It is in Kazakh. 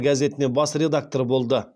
газетіне бас редактор болды